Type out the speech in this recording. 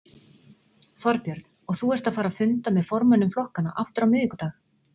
Þorbjörn: Og þú ert að fara að funda með formönnum flokkanna aftur á miðvikudag?